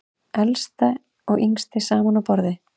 Elsta og yngsti saman á borði